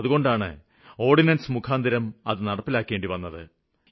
അതുകൊണ്ടാണ് അവ ഓര്ഡിനന്സ് മുഖാന്തിരം നടപ്പിലാക്കിയത്